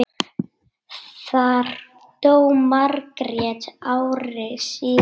Þar dó Margrét ári síðar.